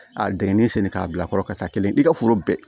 A dingɛnni senni k'a bila a kɔrɔ ka taa kelen i ka foro bɛɛ